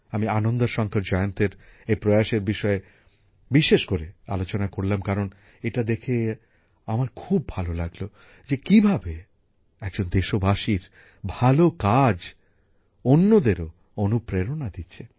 আমি আনন্দা শংকর জয়ন্তের এই প্রয়াসের বিষয়ে বিশেষ করে আলোচনা করলাম কারণ এটা দেখে আমার খুব ভালো লাগলো যে কিভাবে একজন দেশবাসীর ভালো কাজ অন্যদেরও অনুপ্রেরণা দিচ্ছে